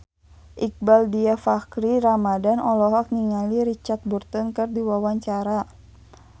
Iqbaal Dhiafakhri Ramadhan olohok ningali Richard Burton keur diwawancara